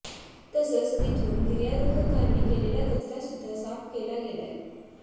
तसंच तिथून गिर्यारोहकांनी केलेला कचरा सुद्धा साफ केला गेलाय